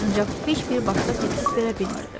Ancaq heç bir başqa təklif verə bilmirdi.